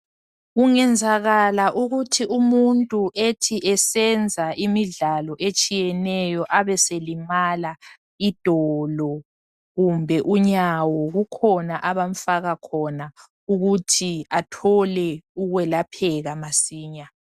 Kungenzakala ukuthi umuntu ethi esenza imidlalo etshiyeneyo abeselimala idolo kumbe unyawo kukhona abamfaka khona ukuthi athole ukwelapheka masinya.